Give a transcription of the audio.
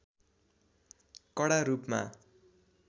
कडा रूपमा